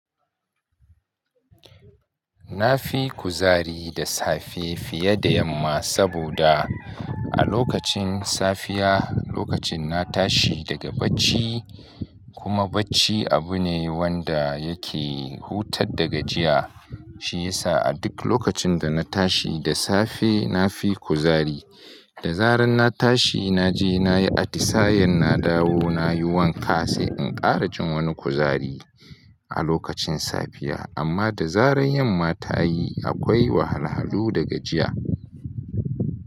Na fi kuzari da safe fiye da yamma saboda a lokacin safiya, lokacin na tashi daga bacci kuma bacci abu ne wanda yake hutad da gajiya. Shi yasa a duk lokacin da na tashi da safe na fi kuzari. Da zaran na tashi na je na yi atisayen na dawo na yi wanka sai in ƙara jin wani kuzari a lokacin safiya. Amma da zaran yamma ta yi akwai wahalhalu da gajiya.